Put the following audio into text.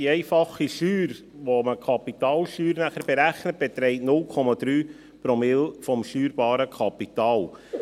Die einfache Steuer, mit welcher man nachher die Kapitalsteuer berechnet, beträgt 0,3 Promille des steuerbaren Kapitals.